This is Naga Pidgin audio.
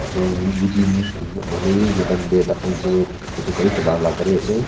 Etu weeding nohoilevi enika time dae thakhan etu kh etu gari chula la gari ase.